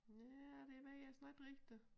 Nej det ved jeg snart ikke rigtig